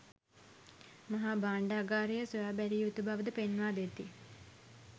මහා භාණ්ඩාගාරය සොයා බැලිය යුතු බව ද පෙන්වා දෙති.